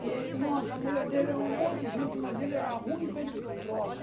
E ele, nossa, a mulher dele é um amor de gente, mas ele era ruim feito troço.